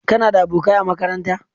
Kana da abokanai a makaranta?